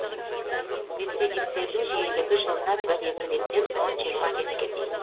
рецидивтердің жиілігі жылына бір екі реттен он жиырма ретке дейін